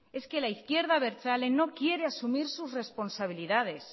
es que la izquierda abertzale no quiere asumir sus responsabilidades